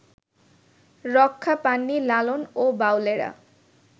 রক্ষা পাননি লালন ও বাউলেরা